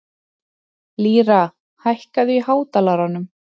Lýra, hækkaðu í hátalaranum.